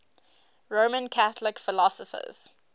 roman catholic philosophers